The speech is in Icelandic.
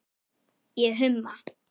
Ég humma.